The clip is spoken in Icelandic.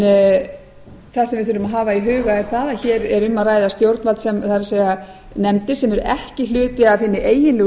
við þurfum að hafa í huga er það að hér er um að ræða stjórnvald það er nefndir sem eru ekki hluti af hinni eiginlegu